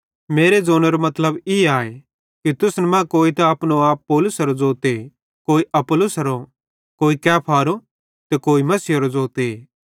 मेरू ज़ोनेरो मतलब ई आए कि तुसन मरां कोई त अपनो आप पौलुसेरे ज़ोते कोई अपुल्लोसेरो कोई कैफारो कोई मसीहेरो ज़ोते